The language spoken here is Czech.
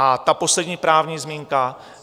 A ta poslední právní zmínka.